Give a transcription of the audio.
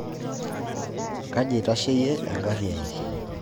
Kaji aitasheyie engarrii ai?